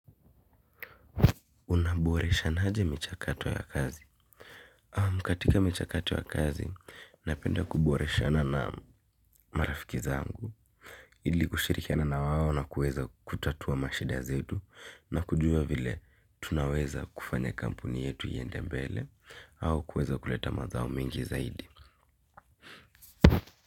Unaboreshana aje michakato ya kazi? Katika michakato ya kazi, napenda kuboreshana na marafiki zangu. Ili kushirikiana na wao na kuweza kutatua mashida zetu na kujua vile tunaweza kufanya kampuni yetu iende mbele au kuweza kuleta mazao mingi zaidi.